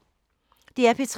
DR P3